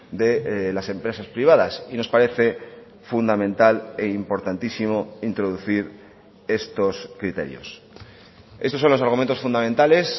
de las empresas privadas y nos parece fundamental e importantísimo introducir estos criterios estos son los argumentos fundamentales